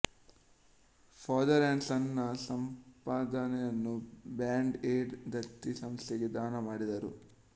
father and son ನ ಸಂಪಾದನೆಯನ್ನು Band Aid ದತ್ತಿ ಸಂಸ್ಥೆಗೆ ಧಾನ ಮಾಡಿದರು